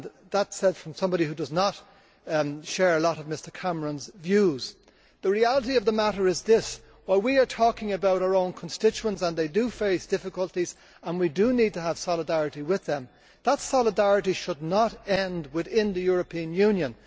That is said by somebody who does not share a lot of Mr Cameron's views. The reality of the matter is this while we are talking about our own constituents and they do face difficulties and we do need to have solidarity with them that solidarity should not end within the European Union.